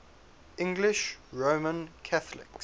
english roman catholics